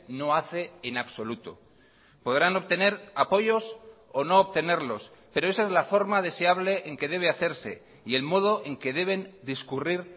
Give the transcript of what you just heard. no hace en absoluto podrán obtener apoyos o no obtenerlos pero esa es la forma de se hable en que debe hacerse y el modo en que deben discurrir